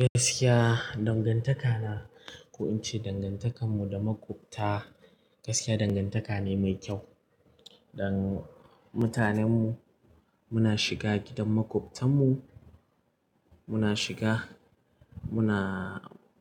Gaskiya dangantaka na, ko in ce dangantakar mu da makwabta gaskiya dangantaka ne mai kyau. Dan mutanen mu muna shiga gidan makwabtan mu, muna shiga muna